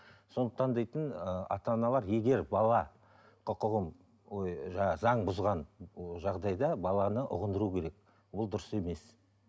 сондықтан дейтін ыыы ата аналар егер бала құқығын ой жаңа заң бұзған жағдайда баланы ұғындыру керек ол дұрыс емес